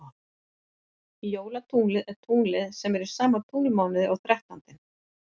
Jólatunglið er tunglið sem er í sama tunglmánuði og þrettándinn.